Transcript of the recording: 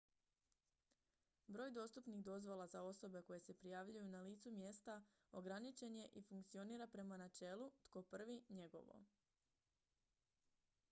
"broj dostupnih dozvola za osobe koje se prijavljuju na licu mjesta ograničen je i funkcionira prema načelu "tko prvi njegovo"".